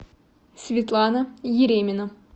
светлана еремина